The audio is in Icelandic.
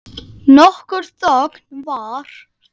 Nokkur þögn varð.